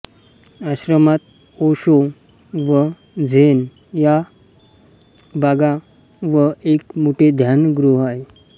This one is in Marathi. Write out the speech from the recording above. आश्रमात ओशो व झेन या बागा व एक मोठे ध्यानगृह आहे